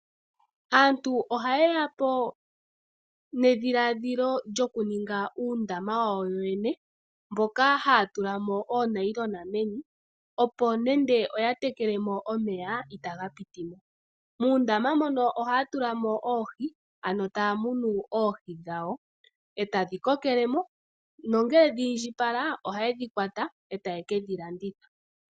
Aantu o haye yapo nedhiladhilo lyokuninga uundama wawo yo yene moka ha ya tulamo oonayilona meni opo ngele oya tekelemo omeya i ta ga pwinemo . Moondama mono oha ya tulamo oohi ano ta ya munu oohi dhawo, e ta dhi kokelemo nongele dhi indjipala oha ye dhi kwata e taye kedhi landitha.